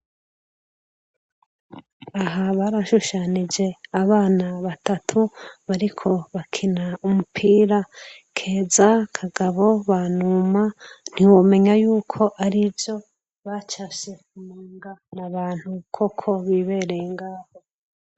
Aha barashushanije abana batatu bariko bakina umupira : Keza, Kagabo, Banuma, ntiwomenya yuko ari ivyo bacafye womenga ni abantu koko bibereye ngaho.